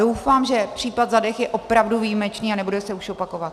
Doufám, že případ Zadeh je opravdu výjimečný a nebude se už opakovat.